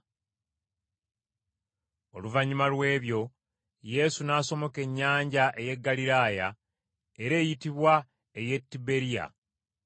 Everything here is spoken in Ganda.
Oluvannyuma lw’ebyo, Yesu n’asomoka ennyanja ey’e Ggaliraaya, era eyitibwa ey’e Tiberiya.